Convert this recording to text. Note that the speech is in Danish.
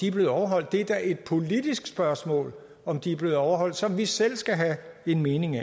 er blevet overholdt det er da et politisk spørgsmål om de er blevet overholdt som vi selv skal have en mening